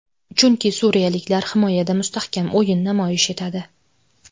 Chunki suriyaliklar himoyada mustahkam o‘yin namoyish etadi.